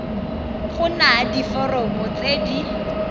go na diforomo tse di